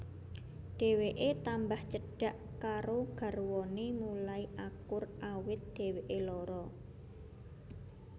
Dheweké tambah cedhak karo garwané mulai akur awit dheweké lara